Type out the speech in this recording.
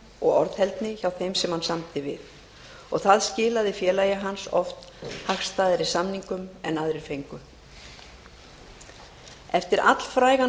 og orðheldni hjá þeim sem hann samdi við það skilaði félagi hans oft hagstæðari samningum en aðrir fengu eftir allfrægan